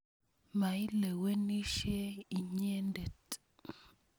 Mailewenisye inyendet.